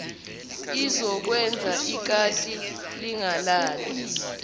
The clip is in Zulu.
izokwenza ikati lingalali